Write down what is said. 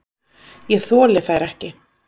Ég þoli þær ekki.